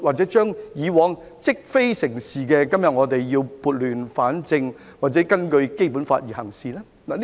對於以往積非成是，今天我們是否要撥亂反正，或根據《基本法》行事呢？